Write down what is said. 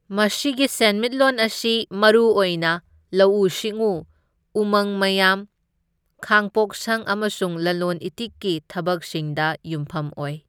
ꯃꯁꯤꯒꯤ ꯁꯦꯟꯃꯤꯠꯂꯣꯟ ꯑꯁꯤ ꯃꯔꯨ ꯑꯣꯏꯅ ꯂꯧꯎ ꯁꯤꯡꯎ, ꯎꯃꯪ ꯃꯌꯥꯝ, ꯈꯥꯡꯄꯣꯛꯁꯪ ꯑꯃꯁꯨꯡ ꯂꯂꯣꯟ ꯏꯇꯤꯛꯀꯤ ꯊꯕꯛꯁꯤꯡꯗ ꯌꯨꯝꯐꯝ ꯑꯣꯏ꯫